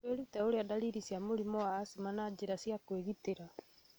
Wĩrute ũrĩa ndariri cia mũrimũ wa acma na njĩra cia kwĩgitĩra